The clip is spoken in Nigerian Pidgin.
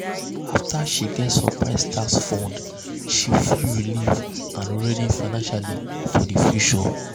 afta she um get um surprise tax refund she feel relieved and ready financially for di um future.